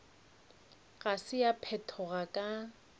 ga se ya phethoga ka